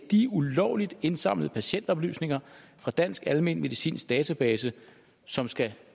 de ulovligt indsamlede patientoplysninger fra dansk almenmedicinsk database som skal